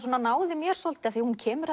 náði mér svolítið hún kemur